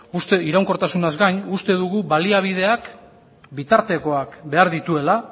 iraunkortasunaz gain uste dugu baliabideak eta bitartekoak behar dituela